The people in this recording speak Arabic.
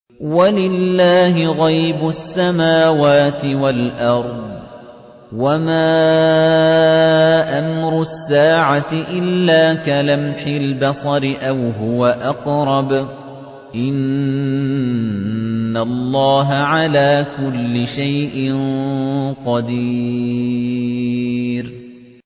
وَلِلَّهِ غَيْبُ السَّمَاوَاتِ وَالْأَرْضِ ۚ وَمَا أَمْرُ السَّاعَةِ إِلَّا كَلَمْحِ الْبَصَرِ أَوْ هُوَ أَقْرَبُ ۚ إِنَّ اللَّهَ عَلَىٰ كُلِّ شَيْءٍ قَدِيرٌ